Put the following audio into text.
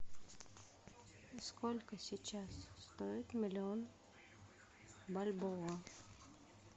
сколько сейчас стоит миллион бальбоа